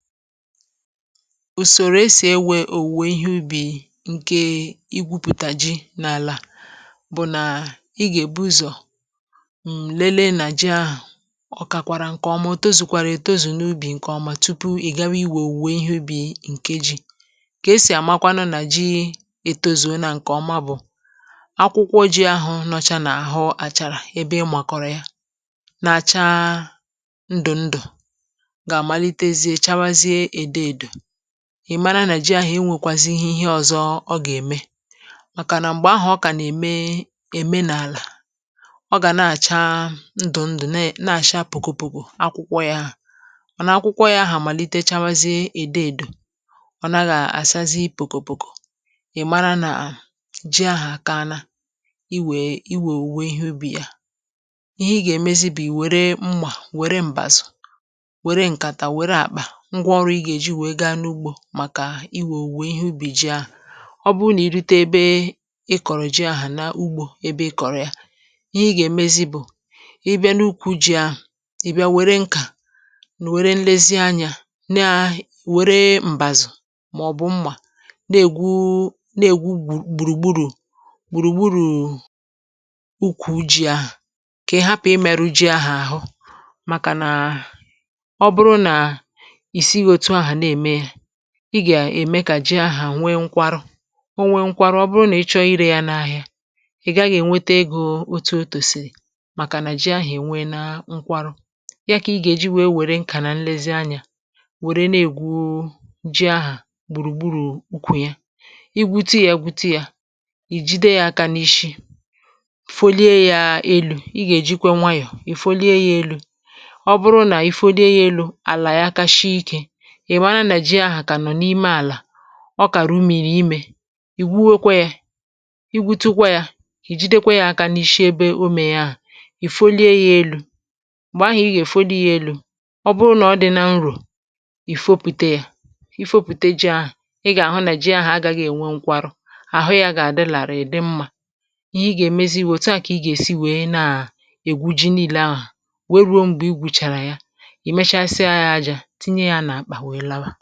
ùsòrò e sì ewē òwùwè ihe ubì ṅ̀kè igwūpùtà ji n’àlà bụ̀ nà ị gà-èbu ụzọ̀ mlelee nà ji ahụ̀ ọ̀ kàkwàrà ṅ̀ke ọma ò tozukwàrà ètozù n’ubì ṅ̀kè ọma tupu ị̀ gawa iwè òwùwè ihe ubì ṅ̀ke jī kà e sì àmakwanụ nà ji ètozùona ṅ̀ke ọma bụ̀ akwụkwọ jī ahụ̀ nọcha n’àhụ àchàrà ebe ị màkọ̀rọ̀ ya na-acha ndụ̀ ndụ̀ gà-àmalitezie chawazie èdoèdò ị̀ mara nà ji ahụ̀ enwēkwāzīhī ihe ọ̄zọ̄ ọ gà-ème màkà nà m̀gbè ahụ̀ ọ kà nà-ème ème n’àlà ọ gà na-àcha ndụ̀̀ndụ̀ ne na-àcha pòkò pòkò akwụkwọ yā mànà akwụkwọ yā ahà màlite chawazie èdoèdò ọ̀ naghị̄ àsazi pòkò pòkò ị̀ mara nà ji ahà àkaala iwèè iwè òwùwè ihe ubì ya ihe ị gà-èmezi bụ̀ ì wère mmà wère m̀bàzụ̀ wère ṅ̀kàtà wère àkpà ṅgwa ọrụ̄ ɪ̣ gà-èji wèe gaa n’ugbō màkà iwè òwùwè ihe ubì ji ahụ̀ ọ bụrụ nà i rute ebe ị kọ̀rọ ji ahà n’ugbō ebe ị kọ̀rọ̀ ya ihe ị gà-èmezi bụ̀ ị bịa n’ukwū jī ahụ̀ ị̀ bịa wère ṅkà nụ̀ wère nlezi anyā naahi wère m̀bàzụ̀ mà̀ọ̀bụ̀ mmà na-ègwu na-ègwu gbu gbùrù gburù gbùrù gburùù ukwū jī ahụ̀ kà ị hapụ̀ ịmẹ̄rụ̄ ji ahụ àhụ màkà nà ọ bụrụ nà ì sighī out ahụ̀ na-ème yā ị bà ème kà ji ahụ̀nwee ṅkwarụ o nwee ṅkwarụ ọ bụrụ nà ị chọọ irē yā n‘ahịa ị̀ gaghị̄ ènweta egō otu o kwèsị̀rị̀ màkà nà ji ahụ̀ ènweena ṅkwarụ a kà ịgà èji wère ṅ̀kà nà nlezi anyā wère na-ègwu ji ahà gbùrù gburù ukwù ya i gwutu yā gwutu yā ì jide yā aka n’ishi folie yā elū i gà-èjikwa nwayọ̀ èfolie yā elū ọ bụrụ nà i folie yā elū àlà ya ka shie ikē ị̀ mara nà ji ahà kà nọ̀ n’ime àlà ọ kà rumìrì imē ì gwuwekwe ye i gwutukwa yā ì jidekwa yā aka n’ishi ebe omē yā ahà ì folie yā elū m̀gbè ahụ̀ ị gà-èfoli yā elū ọ bụrụ nà ọ dị̄lā nrò ì fopùte yā i fopùte jī ahụ ị gà-àhụ nà ji ahụ̀ agāghị̄ ènwe ṅkwarụ àhụ yā gààdị làrịị̀ dị mmā ihe ị gà-èmezi bụ̀ òtu à kà ị gà èsi wèe naà ègwu ji niīlē ahụ̀ wèe rùo m̀gbè i gwùchàrà ha ì mechasịa yā ajā tinye yā n’àkpà wèe laba